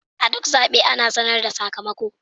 A duk zaɓe ana sanar da sakamako.